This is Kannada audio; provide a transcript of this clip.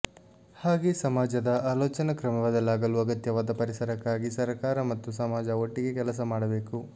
ಹಾಗೆ ಸಮಾಜದ ಆಲೋಚನಾ ಕ್ರಮ ಬದಲಾಗಲು ಅಗತ್ಯವಾದ ಪರಿಸರಕ್ಕಾಗಿ ಸರ್ಕಾರ ಮತ್ತು ಸಮಾಜ ಒಟ್ಟಿಗೇ ಕೆಲಸಮಾಡಬೇಕು